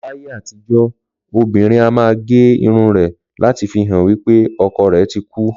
Láyé àtijọ́, obìnrin a máa gé irun rẹ̀ láti fi hàn wí pé ọkọ rẹ̀ ti kú